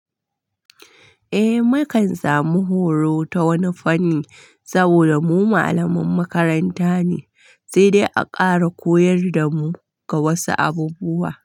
Eh, mu kan samu horo ta wani fanni saboda mu malaman makaranta ne, sai dai a ƙara koyar da mu ga wasu abubuwa.